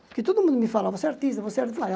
Porque todo mundo me falava, você é artista, você é